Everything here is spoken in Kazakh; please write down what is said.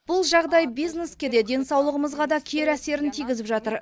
бұл жағдай бизнеске де денсаулығымызға да кері әсерін тигізіп жатыр